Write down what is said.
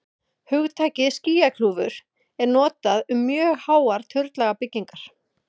hugtakið skýjakljúfur er notað um mjög háar turnlaga byggingar